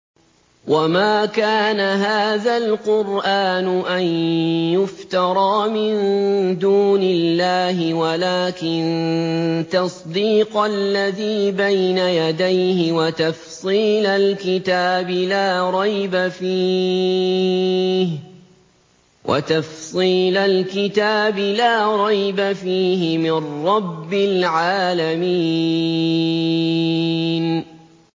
وَمَا كَانَ هَٰذَا الْقُرْآنُ أَن يُفْتَرَىٰ مِن دُونِ اللَّهِ وَلَٰكِن تَصْدِيقَ الَّذِي بَيْنَ يَدَيْهِ وَتَفْصِيلَ الْكِتَابِ لَا رَيْبَ فِيهِ مِن رَّبِّ الْعَالَمِينَ